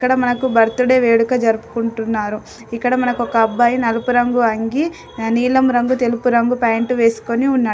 ఇక్కడ మనకు birthday వేడుక జరుపుకుంటున్నారు. ఇక్కడ మనకు ఒక అబ్బాయి నలుపు రంగు అంగీ ఆహ్ నీలం రంగు తెలుపు రంగు ప్యాంటు వేసుకొని ఉన్నాడు.